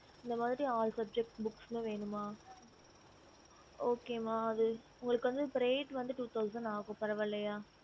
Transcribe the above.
a yes mam